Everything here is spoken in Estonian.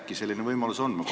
Äkki selline võimalus on?